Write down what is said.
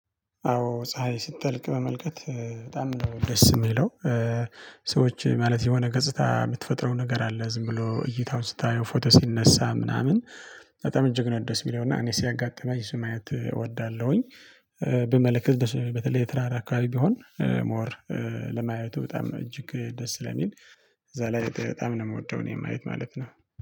አዎ ፀሀይ ስትጠልቅ በመልከት በጣም ነው ደስ የሚለው። ሰዎች ማለት የሆነ ገጽታ የምትፈጥረው ነገር አለ ዝም ብሎ እይታውን ስታየው ፎቶ ሲነሳ ምናምን። በጣም እጀግ ነው ደስ የሚለው እና እኔ ሲያጋጥመኝ እሱን ማየት እወዳለሁኝ። ብመለከት በተለይ የተራራ አካባቢ ቢሆን። ሞር በማየቱ በጣም እጅግ ደስ ስለሚል። እዛ ላይ በጣም ነው የምወደው። እኔ ማየት ማለት ነው